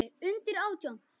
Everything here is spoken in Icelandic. Með bestu þökkum.